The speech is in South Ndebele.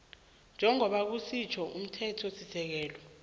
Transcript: njengoba kusitjho umthethosisekelo